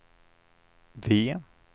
V